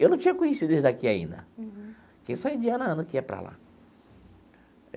Eu não tinha conhecido eles daqui ainda, porque só em de ano a ano que ia para lá.